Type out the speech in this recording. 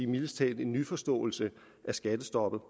mildest talt en nyforståelse af skattestoppet